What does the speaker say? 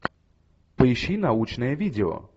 поищи научное видео